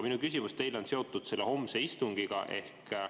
Minu küsimus teile on seotud homse istungiga.